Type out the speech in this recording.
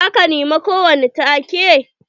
Za ka nema ko wani take?